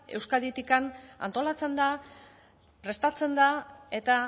euskaditik antolatzen da prestatzen da eta